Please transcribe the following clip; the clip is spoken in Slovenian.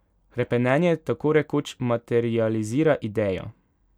Hrepenenje tako rekoč materializira idejo.